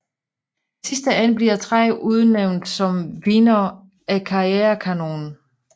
I sidste ende bliver tre udnævnt som vindere af KarriereKanonen